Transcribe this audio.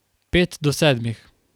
Pet do sedmih.